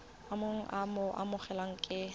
maemo a a amogelesegang ke